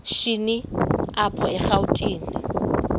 shini apho erawutini